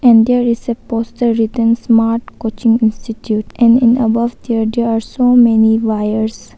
And there is a poster written smart coaching institute and in above there are so many wires.